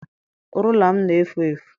Rula m na-efu efu.